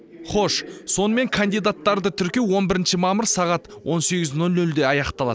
хош сонымен кандидаттарды тіркеу он бірінші мамыр сағат он сегіз нөл нөлде аяқталады